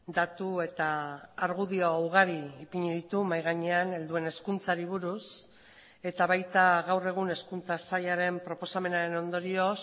datu eta argudio ugari ipini ditu mahai gainean helduen hezkuntzari buruz eta baita gaur egun hezkuntza sailaren proposamenaren ondorioz